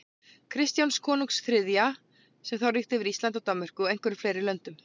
Kristjáns konungs þriðja, sem þá ríkti yfir Íslandi, Danmörku og einhverjum fleiri löndum.